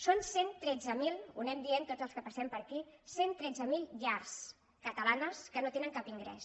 són cent i tretze mil ho anem dient tots els que passem per aquí cent i tretze mil llars catalanes que no tenen cap ingrés